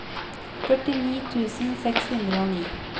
førtini tusen seks hundre og ni